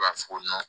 U b'a fɔ ko